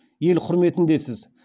ел құрметіндесіз